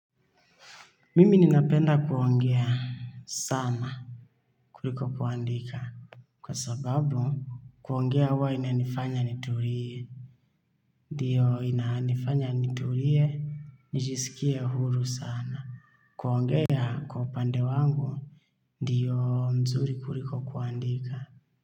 Mimi ninapenda kuongea sana kuliko kuandika. Kwa sababu kuongea huwa inanifanya nitulie ndio inanifanya nitulie, nijisikie huru sana. Kuongea kwa upande wangu, ndiyo mzuri kuliko kuandika.